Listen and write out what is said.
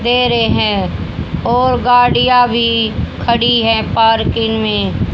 दे रहें हैं और गाड़ियाँ भीं खड़ी हैं पार्किंग में--